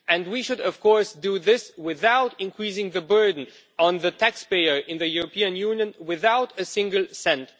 We should of course do this without increasing the burden on the taxpayer in the European Union, not by a single cent.